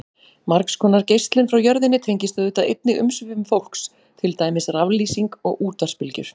Margs konar geislun frá jörðinni tengist auðvitað einnig umsvifum fólks, til dæmis raflýsing og útvarpsbylgjur.